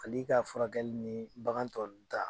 Fali ka furakɛli ni bagan tɔ nu ta